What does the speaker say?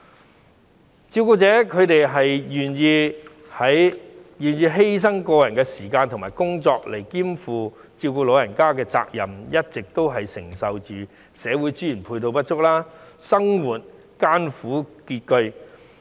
不少照顧者願意犧牲個人時間及工作兼顧照顧老人家的責任，一直都要承受社會資源配套不足，生活艱苦拮据。